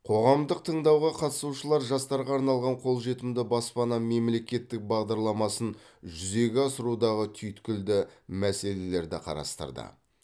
қоғамдық тыңдауға қатысушылар жастарға арналған қолжетімді баспана мемлекеттік бағдарламасын жүзеге асырудағы түйткілді мәселелерді қарастырды